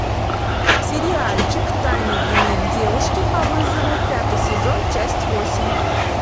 сериальчик тайный дневник девушки по вызову пятый сезон часть восемь